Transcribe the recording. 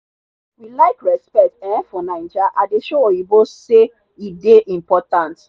we like respect um for naija i dey show oyinbo say e dey important.